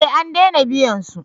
Eh an dena biyan su